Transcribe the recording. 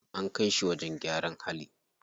An kai shi wajen gyaran hali.